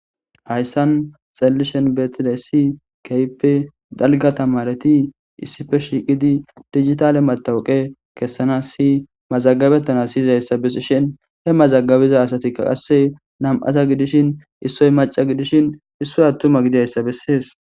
hayssan xallishen betide si keype dalga tamareti issife shiiqidi digitale matawuqe kessana si mazagabettana siyizayssa besishin he mazagabiza asatikka qasse nam7aza gidishin issoy maca gidishin issoy attuma gidayssa bessees